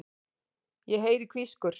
Ég heyri hvískur.